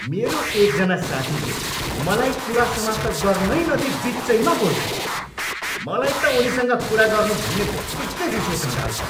मेरो एकजना साथीले मलाई कुरा समाप्त गर्नै नदिई बिचैमा बोल्छन्। मलाई त उनीसँग कुरा गर्नु भन्ने बित्तिकै रिस उठ्न थाल्छ।